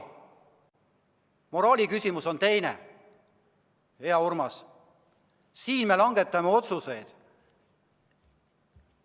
Moraali küsimus on teine, hea Urmas, siin me langetame otsuseid.